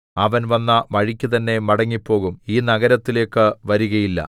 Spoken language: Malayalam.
അവൻ വന്ന വഴിക്കു തന്നേ മടങ്ങിപ്പോകും ഈ നഗരത്തിലേക്കു വരികയില്ല